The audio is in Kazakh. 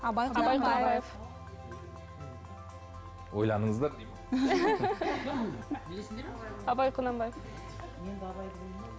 ойланыңыздар абай құнанбаев